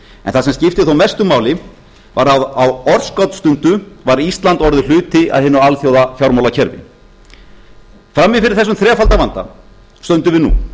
en það sem skiptir þó mestu máli að á örskotsstundu var ísland orðinn hluti af hinu alþjóðafjármálakerfi frammi fyrir þessum þrefalda vanda stöndum við nú